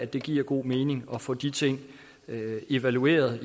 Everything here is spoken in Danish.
det giver god mening at få de ting evalueret